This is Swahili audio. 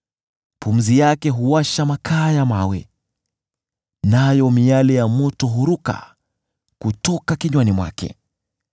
Pumzi yake huwasha makaa ya mawe, nayo miali ya moto huruka kutoka kinywani mwake.